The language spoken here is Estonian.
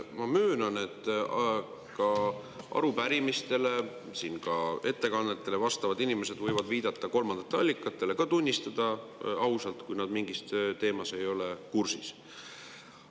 Ma möönan, et arupärimistele vastavad ja ka ettekannetega inimesed võivad viidata kolmandatele allikatele, ka tunnistada ausalt, kui nad mingi teemaga ei ole kursis.